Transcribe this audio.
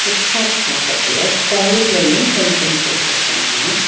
Food பாத் பக்கத்துல கயிற்லயும் fencing போட்ருக்காங்க.